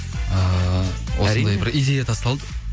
ыыы осындай бір идея тасталды